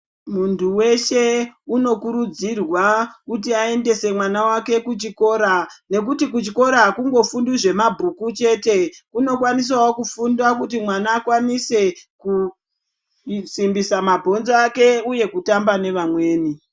Mundu weshe unokuridzirwa kuti aendese mwana wake kuchikora nekuti kuchikora akungofundwi zvemabhuku chete kunokwanisawo kunofundwa kuti mwana akwanise ku kusimbisa mabhonzo ake uye kutamba nevamweni